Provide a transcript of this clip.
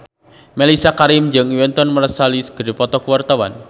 Mellisa Karim jeung Wynton Marsalis keur dipoto ku wartawan